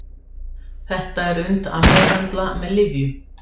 Þetta er unnt að meðhöndla með lyfjum.